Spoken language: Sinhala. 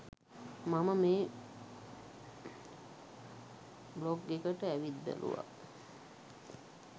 මම මේ බ්ලොග් එකට ඇවිත් බැලුවා.